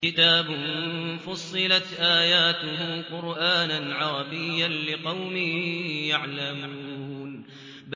كِتَابٌ فُصِّلَتْ آيَاتُهُ قُرْآنًا عَرَبِيًّا لِّقَوْمٍ يَعْلَمُونَ